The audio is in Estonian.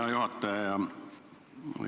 Hea juhataja!